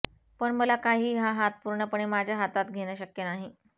पण मला काही हा हात पुर्णपणे माझ्या हातात घेणं शक्य नाही